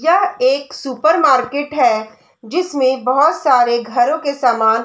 यह एक super market है जिसमे बहोत सारे घरों के सामान--